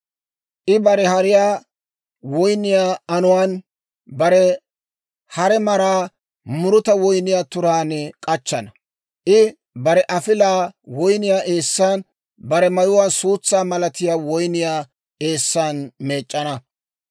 I bare hariyaa woyniyaa anuwaan, bare hare maraa muruta woyniyaa turaan k'achchana. I bare afilaa woyniyaa eessan, bare mayuwaa suutsaa malatiyaa woyniyaa eessan meec'c'ana.